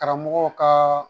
Karamɔgɔw kaa